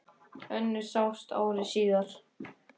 Önnur sást ári síðar.